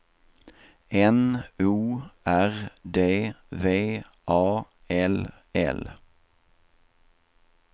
N O R D V A L L